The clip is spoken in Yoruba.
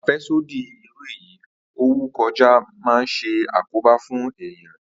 Àfé̩sódì irú èyí ó wù kó jé̩ máa ń s̩e àkóbá fún èèyàn